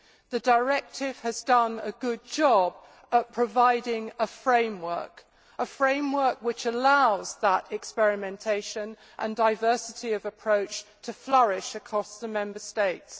The directive has done a good job in providing a framework a framework which allows experimentation and the diversity of approaches to flourish across the Member States.